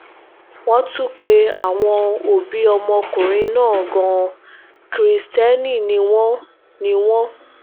wọ́n tún pe àwọn òbí ọmọkùnrin náà gan-an kristẹni ni wọ́n ni wọ́n